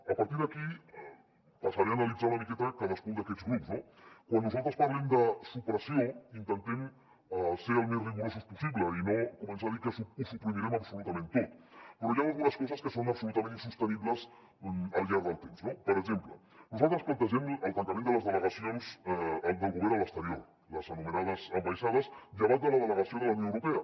a partir d’aquí passaré a analitzar una miqueta cadascun d’aquests grups no quan nosaltres parlem de supressió intentem ser el més rigorosos possible i no començar a dir que ho suprimirem absolutament tot però hi han algunes coses que són absolutament insostenibles al llarg del temps no per exemple nosaltres plantegem el tancament de les delegacions del govern a l’exterior les anomenades ambaixades llevat de la delegació de la unió europea